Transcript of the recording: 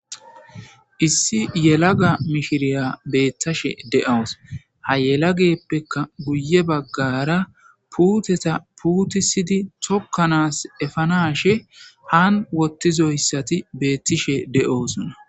Issi yelaga mishiriya beettashe de'awus ha yelageppeka guye baggara puuteta puutisidi tokkanas efanashe han wottizoyssati beettishe de'oosuna.